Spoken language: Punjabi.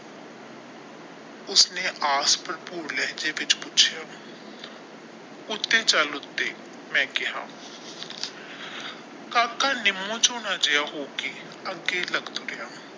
ਉਸਨੇ ਆਸ ਭਰਪੂਰ ਲਹਿਜੇ ਵਿੱਚ ਪੁੱਛਿਆ ਉੱਤੇ ਚੱਲ ਉੱਤੇ ਮੈਂ ਕਹਿਆ ਕਾਕਾ ਜਿਹਾ ਹੋ ਕੇ ਅੱਗੇ ਤਕ ਤੋਰਿਆ।